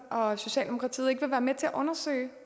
og socialdemokratiet ikke vil være med til at undersøge